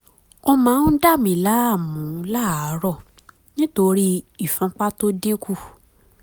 ó máa ń dà mí láàmú láàárọ̀ nítorí ìfúnpá tó dín kù